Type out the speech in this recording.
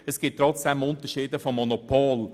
Es gibt trotzdem Unterschiede mit Bezug zum Monopol.